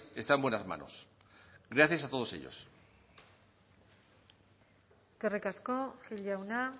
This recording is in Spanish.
está en buenas manos gracias a todos ellos eskerrik asko gil jauna